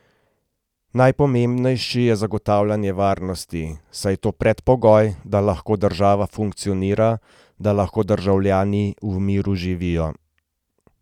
Najpomembnejši je zagotavljanje varnosti, saj je to predpogoj, da lahko država funkcionira, da lahko državljani v miru živijo.